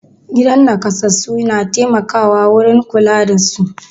Gidan naƙasassu na taimaka wurin kula da su.